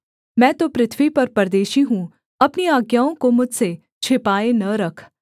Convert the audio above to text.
मैं तो पृथ्वी पर परदेशी हूँ अपनी आज्ञाओं को मुझसे छिपाए न रख